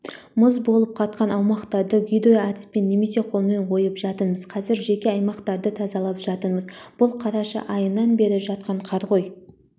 мұз болып қатқан аумақтарды гидроәдіспен немесе қолмен ойып жатырмыз қазір жеке аймақтарды тазалап жатырмыз бұл қараша айынан бері жатқан қар ғой